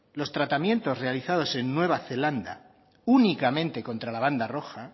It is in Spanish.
los tratamientos realizados en nueva zelanda únicamente contra la banda roja